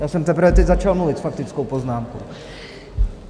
Já jsem teprve teď začal mluvit s faktickou poznámku.